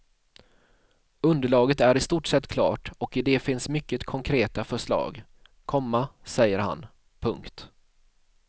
Underlaget är i stort sett klart och i det finns mycket konkreta förslag, komma säger han. punkt